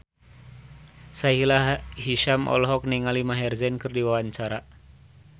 Sahila Hisyam olohok ningali Maher Zein keur diwawancara